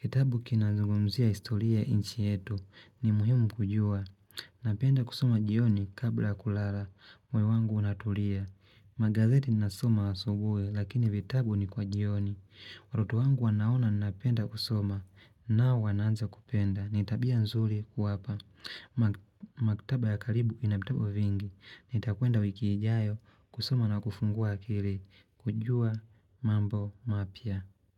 Kitabu kinazugumzia historia ya nchi yetu, ni muhimu kujua. Napenda kusoma jioni kabla kulala, moyo wangu unatulia. Magazeti nasoma asubuhi, lakini vitabu ni kwa jioni. Watoto wangu wanaona napenda kusoma, nao wanaanza kupenda, nitabia nzuri kuwapa. Maktaba ya karibu ina vitabu vingi Nitakwenda wikiijayo kusoma na kufungua akili kujua mambo mapya.